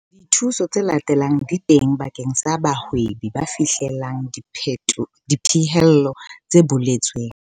Dithuso tse latelang di teng bakeng sa bahwebi ba fihlellang dipehelo tse boletsweng.